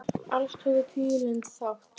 Alls tóku tíu lönd þátt.